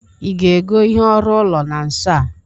ị ga-ego ihe ọrụ ụlo na nso a?